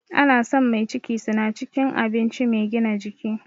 Ana son mai ciki suna cikin abinci mai gina jiki